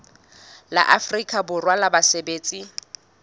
la afrika borwa la basebetsi